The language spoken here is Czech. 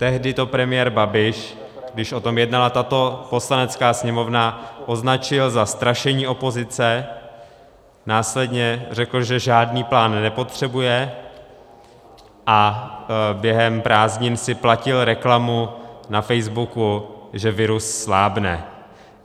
Tehdy to premiér Babiš, když o tom jednala tato Poslanecká sněmovna, označil za strašení opozice, následně řekl, že žádný plán nepotřebuje, a během prázdnin si platil reklamu na Facebooku, že virus slábne.